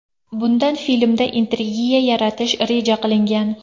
Bundan filmda intrigiya yaratish reja qilingan.